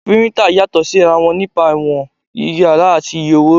Píríntà yàtọ̀ sí ra wọn nípa ìwọ̀n, ìyára àti iye owó